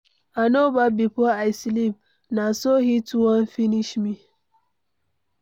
I no baff before I sleep, na so heat wan finish me.